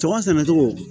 Tɔgɔ sɛnɛ cogo